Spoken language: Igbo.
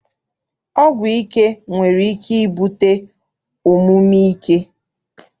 Ọgwụ ike nwere ike ibute omume ike.